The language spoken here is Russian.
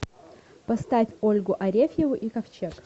поставь ольгу арефьеву и ковчег